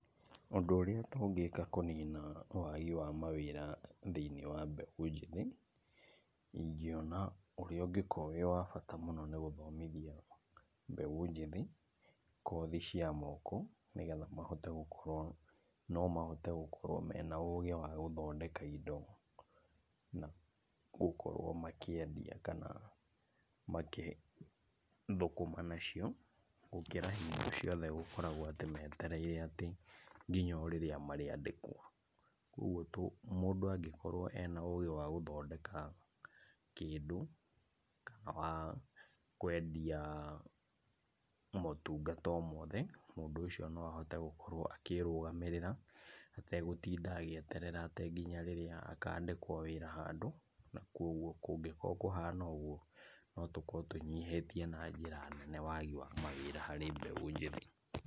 Ũndũ ũrĩa tũngĩka kũnina wagi wa mawĩra thĩiniĩ wa mbeũ njĩthĩ, ingĩona ũrĩa ũngĩkorwo wĩ wa bata mũno nĩ gũthomithia mbeũ njĩthĩ kothi cia moko, nigetha mahote gũkorwo, nomahote gũkorwo mena ũgĩ wa gũthondeka indo na gũkorwo makĩendia kana makĩthũkũma nacio, gũkĩra hingo ciothe gũkoragwo atĩ metereire atĩ nginya o rĩrĩa marĩandĩkwo. Koguo tũ, mũndũ angĩkorwo e na ũgĩ wa gũthondeka kĩndũ kana wa kwendia motungata o mothe, mũndũ ũcio noahote gũkorwo akĩĩrũgamĩrĩra ategũtinda agĩeterera atĩ o nginya rĩrĩa akandĩkwo wĩra handũ, na koguo kũngĩkorwo kũhana ũguo, notũkorwo tũnyihĩtie na njĩra nene wagi wa mawĩra harĩ mbeũ njĩthĩ.